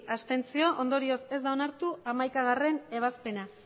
ondorioz ez da onartu hamaikagarrena ebazpena